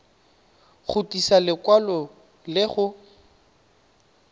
go tlisa lekwalo le go